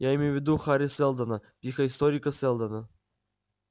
я имею в виду хари сэлдона психоисторика сэлдона